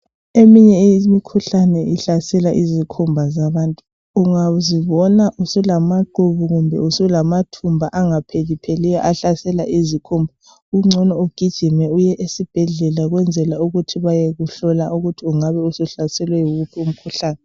Eminye imikhuhlane ihlasela izikhumba zabantu . Ungazibona usulamaqubu kumbe usulamathumba angaphelipheliyo ahlasela izikhumba kungcono ugijime uye esibhedlela kwenzela ukuthi bayekuhlola ukuthi ungabe usuhlaselwe yiwuphi umkhuhlane .